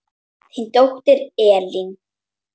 Þín dóttir Elín.